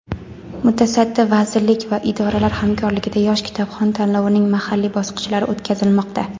mutasaddi vazirlik va idoralar hamkorligida "Yosh kitobxon" tanlovining mahalliy bosqichlari o‘tkazilmoqda.